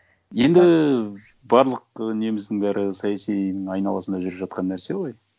енді барлық неміздің бәрі саяси айналасында жүріп жатқан нәрсе ғой